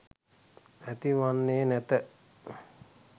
ඇති වන්නේ නැත.